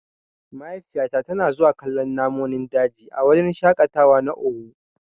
Mahaifiyata tana zuwa kallon namonin daji a wurin shaƙatawa na owu.